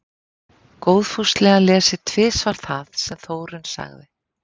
Góðfúslega lesið tvisvar það sem Þórunn sagði.